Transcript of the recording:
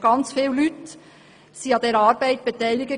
Sehr viele Leute waren an dieser Arbeit beteiligt.